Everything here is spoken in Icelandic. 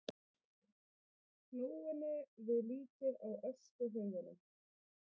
klóinu við líkið á öskuhaugunum.